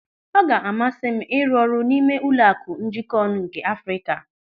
Ọ ga-amasị m ịrụ ọrụ n'ime Ụlọaku Njikonu nke Afrịka.